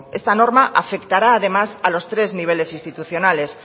esta norma afectará además a los tres niveles institucionales